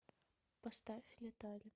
поставь летали